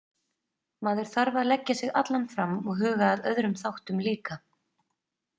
Maður þarf að leggja sig allan fram og huga að öðrum þáttum líka.